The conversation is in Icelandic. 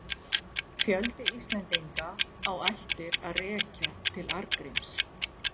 Fjöldi Íslendinga á ættir að rekja til Arngríms.